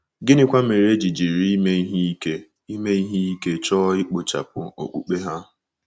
Gịnịkwa mere e ji jiri ime ihe ike ime ihe ike chọọ ikpochapụ okpukpe ha?